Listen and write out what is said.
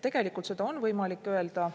Tegelikult seda on võimalik öelda.